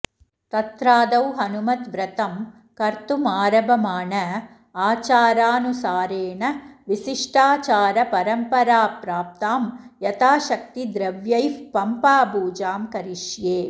तत्रादौ हनुमद्व्रतं कर्तुमारभमाण आचारानुसारेण विशिष्टाचारपरम्पराप्राप्तां यथाशक्तिद्रव्यैः पम्पापूजां करिष्ये